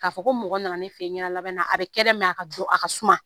Ka fɔ ko mɔgɔ nana ne fe yen ɲɛda labɛnna a bɛ kɛ dɛ nga a ka dɔ a ka suma.